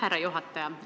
Härra juhataja!